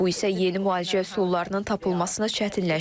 Bu isə yeni müalicə üsullarının tapılmasını çətinləşdirir.